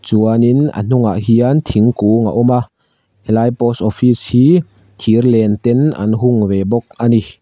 chuanin a hnungah hian thingkung a awm a helai post office hi thirlen ten an hung ve bawk a ni.